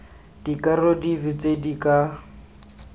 dikarolo dife tse di ka